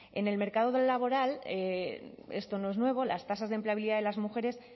en el mercado laboral esto no es nuevo las tasas de empleabilidad de las mujeres